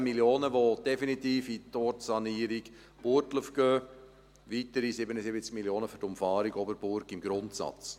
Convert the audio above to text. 15 Mio. Franken, die definitiv in die Ortssanierung Burgdorf gehen, sowie weitere 77 Mio. Franken für die Umfahrung Burgdorf im Grundsatz.